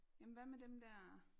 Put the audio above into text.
Jamen hvad med dem der